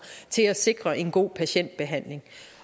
til at sikre en god patientbehandling